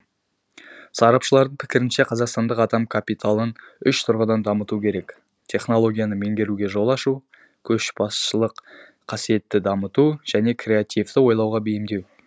сарапшылардың пікірінше қазақстандық адам капиталын үш тұрғыдан дамыту керек технологияны меңгеруге жол ашу көшбасшылық қасиетті дамыту және креативті ойлауға бейімдеу